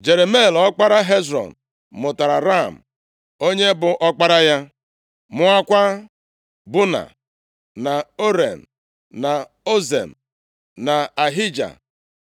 Jerameel ọkpara Hezrọn mụtara Ram, onye bụ ọkpara ya, mụọkwa Buna, na Oren, na Ozem, na Ahija.